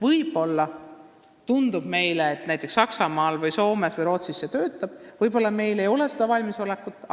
Meile võib tunduda, et see töötab näiteks Saksamaal, Soomes või Rootsis, aga meil ei ole veel selleks valmisolekut.